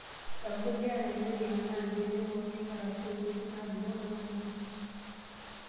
Empulia nanyori, anaa mbenek orkiek arashu nkujit nadung'o nanarikino.